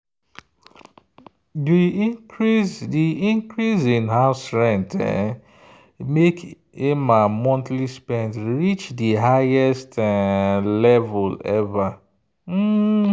the increase the increase in house rent make emma monthly spend reach the highest um level ever. um